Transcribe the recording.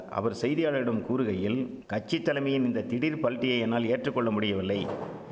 அவர் செய்தியாளரிடம் கூறுகையில் கட்சித்தலமையின் இந்த திடீர் பல்டியை என்னால் ஏற்றுக்கொள்ள முடியவில்லை